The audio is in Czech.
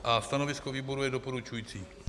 A stanovisko výboru je doporučující.